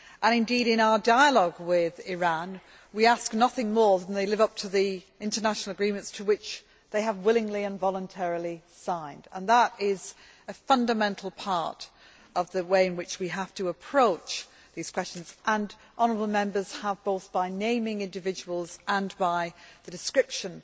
And indeed, in our dialogue with Iran, we ask nothing more than that they live up to the international agreements which they have willingly and voluntarily signed, and that is a fundamental part of the way in which we have to approach these questions, and Members have, both by naming individuals and by describing